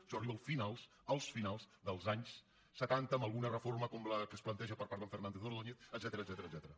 això arriba a finals a finals dels anys se·tanta amb alguna reforma com la que es planteja per part d’en fernández ordóñez etcètera